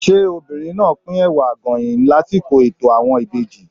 Ṣé obìnrin náà á pín Ẹ̀wà Àgọ̀yìn lásìkò ètò àwọn ìbejì?